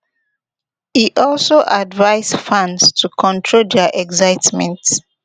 e also advise fans to control dia excitement